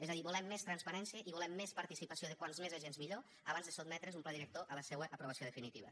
és a dir volem més transparència i volem més participació de com més agents millor abans de sotmetre’s un pla director a la seua aprovació definitiva